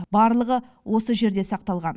барлығы осы жерден сақталған